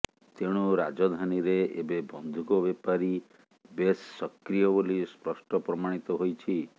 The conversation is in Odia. ତେଣୁ ରାଜଧାନୀରେ ଏବେ ବନ୍ଧୁକ ବେପାରୀ ବେଶ୍ ସକ୍ରିୟ ବୋଲି ସ୍ପଷ୍ଟ ପ୍ରମାଣିତ ହୋଇଛି